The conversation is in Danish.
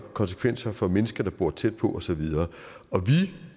konsekvenser for mennesker der bor tæt på og så videre og vi